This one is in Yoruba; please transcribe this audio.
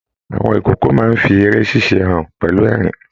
Àwọn ikòkò máa fí eré ṣíṣe hàn pẹlú ẹrín.